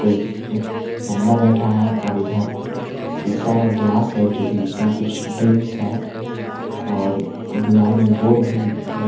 कोंई एक बन्दा बैठा है और इधर शीशा का गिलास है जोकि इसमें कुछ ड्रिंक्स है और दीवार में बोर्ड भी ल--